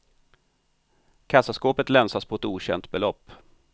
Kassaskåpet länsas på ett okänt belopp.